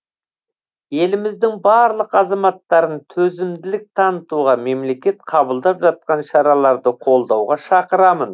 еліміздің барлық азаматтарын төзімділік танытуға мемлекет қабылдап жатқан шараларды қолдауға шақырамын